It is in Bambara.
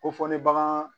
Ko fɔ ne bagan